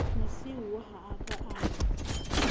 mosiuwa ha a ka a